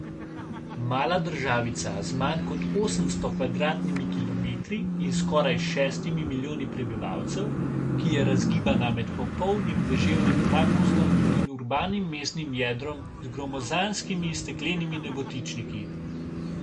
Mala državica z manj kot osemsto kvadratnimi kilometri in skoraj šestimi milijoni prebivalcev, ki je razgibana med popolnim deževnim pragozdom in urbanim mestnim jedrom z gromozanskimi steklenimi nebotičniki.